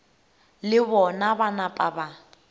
le bona ba napa ba